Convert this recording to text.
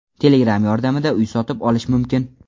Telegram yordamida uy sotib olish mumkin.